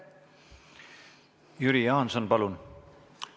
Jüri Jaanson, palun!